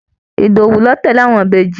Ìdòwú ló tẹ́lẹ̀ àwọn Ìbejì